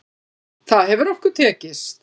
Það hefur okkur tekist.